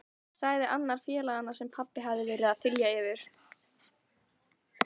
sagði annar félaganna sem pabbi hafði verið að þylja yfir.